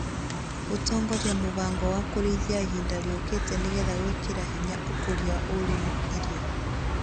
gũtongoria mũbango wa Kũrĩithia Ihinda Rĩũkĩte nĩ getha gwĩkĩra hinya ũkũria wa ũrĩmi , irio